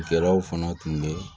kɛlaw fana tun bɛ